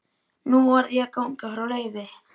Nú varð ég að ganga frá Leifi.